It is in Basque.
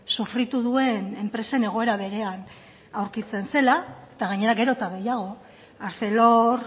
sufritu duen enpresen egoera berean aurkitzen zela eta gainera gero eta gehiago arcelor